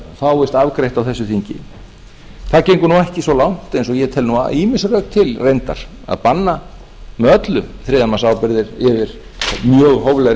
fáist afgreitt á þessu þingi það gengur ekki svo langt eins og ég tel ýmis rök til reyndar að banna með öllu þriðjamannsábyrgðir yfir mjög hóflegri